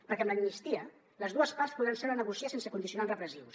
perquè amb l’amnistia les dues parts podran seure a negociar sense condicionants repressius